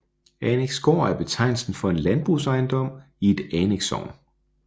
Anneksgård er betegnelsen for en landbrugsejendom i et annekssogn